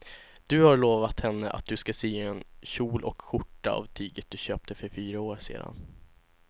Du har lovat henne att du ska sy en kjol och skjorta av tyget du köpte för fyra år sedan.